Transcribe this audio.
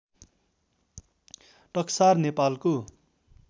टक्सार नेपालको